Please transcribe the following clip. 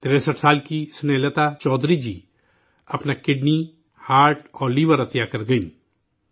63 سال کی اسنیہ لتا چودھری جی، اپنا دل، کڈنی اور لیور، عطیہ کر گئیں